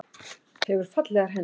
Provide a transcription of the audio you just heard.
Hefur fallegar hendur.